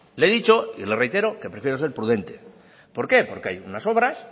le he dicho y le reitero que prefiero ser prudente por qué porque hay unas obras